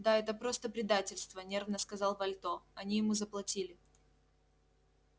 да это просто предательство нервно сказал вальто они ему заплатили